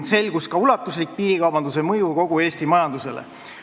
Selgus ka ulatuslik piirikaubanduse mõju kogu Eesti majandusele.